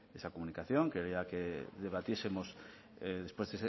esa comunicación quería que debatiesemos después